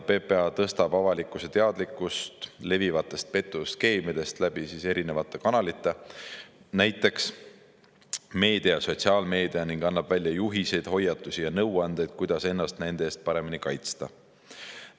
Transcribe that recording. PPA tõstab avalikkuse teadlikkust levivatest petuskeemidest läbi erinevate kanalite, näiteks meedia ja sotsiaalmeedia, ning annab välja juhiseid, hoiatusi ja nõuandeid, kuidas ennast nende eest paremini kaitsta.